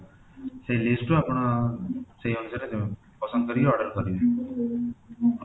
ସେଇ list ରୁ ଆପଣ ସେଇ ଅନୁସାରେ ପସନ୍ଦ କରିକି oder କରିବେ,